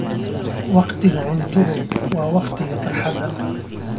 Wakhtiga cuntadu waa wakhti farxadeed.